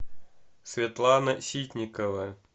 светлана ситникова